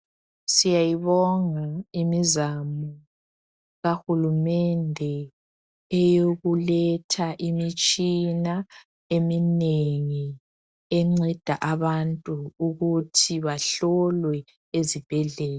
Siyayibonga imizamo kahulumende eyokuletha imitshina eminengi enceda abantu ukuthi bahlolwe ezibhedlela.